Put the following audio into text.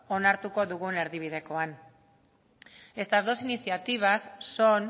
onartuko dugun erdibidekoan estas dos iniciativas son